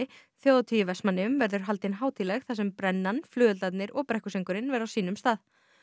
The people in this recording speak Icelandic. þjóðhátíð í Vestmannaeyjum haldin hátíðleg þar sem brennan flugeldarnir og brekkusöngurinn verða á sínum stað